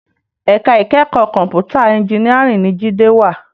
Èká ikèékò kòmpútá ènjìnìárìn ni Jide wá